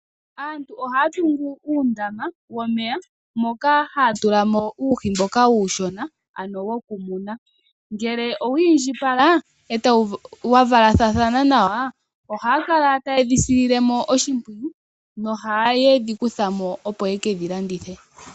Aantu ohaya tungu uundama womeya moka haya tulamo uuhi mboka uushona ano wokumuna. Ngele owiindjipala etawu , wavalathathana nawa, ohaya kala tayedhi sililemo oshimpwiyu nohayedhi okuthamo yekedhi landithepo.